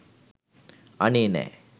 අනේ නෑ